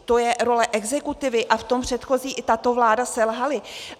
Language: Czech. To je role exekutivy a v tom předchozí i tato vláda selhaly.